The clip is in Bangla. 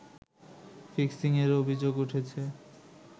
ফিক্সিং-এর অভিযোগ উঠেছে